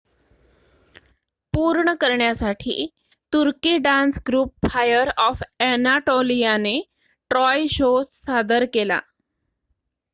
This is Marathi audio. "पूर्ण करण्यासाठी तुर्की डान्स ग्रुप फायर ऑफ अ‍ॅनाटोलियाने "ट्रॉय" शो सादर केला.